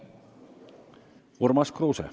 Urmas Kruuse.